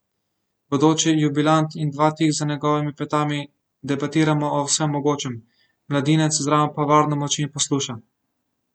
Bodoči jubilant in dva tik za njegovimi petami debatiramo o vsem mogočem, mladinec zraven pa varno molči in posluša.